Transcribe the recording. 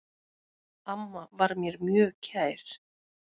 Amma var mér mjög kær.